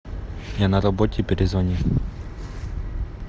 я на работе перезвони